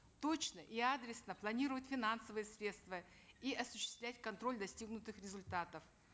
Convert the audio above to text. точно и адресно планировать финансовые средства и осуществлять контроль достигнутых результатов